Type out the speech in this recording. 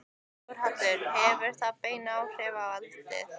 Þórhallur: Hefur það bein áhrif á eldið?